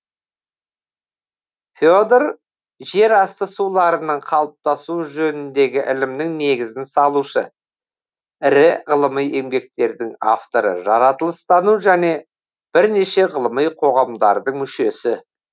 федор жер асты суларының қалыптасуы жөніндегі ілімнің негізін салушы ірі ғылыми еңбектердің авторы жаратылыстану және бірнеше ғылыми қоғамдардың мүшесі